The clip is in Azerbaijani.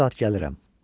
Mən bu saat gəlirəm,